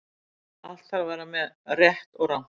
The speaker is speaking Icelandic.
Allt þarf að vera með, rétt og rangt.